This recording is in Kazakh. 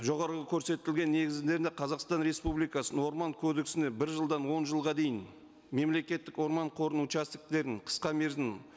жоғарғы көрсетілген негіздерінде қазақстан республикасының орман кодексіне бір жылдан он жылға дейін мемлекеттік орман қорының қысқа мерзім